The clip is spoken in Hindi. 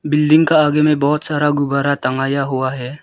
बिल्डिंग का आगे में बहोत सारा गुब्बारा टंगाया हुआ है।